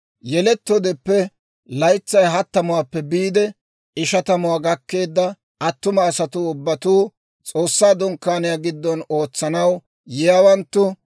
Yelettoodeppe laytsay hattamuwaappe biide ishatamuwaa gakkeedda attuma asatuu ubbatuu, S'oossaa Dunkkaaniyaa giddon ootsanaw yiyaawanttu,